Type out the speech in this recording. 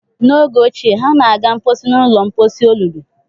N'oge ochie, ha na-aga mposi n ụlọ mposi olulu